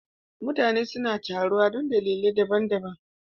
Mutane suna taruwa don dalilai daban-daban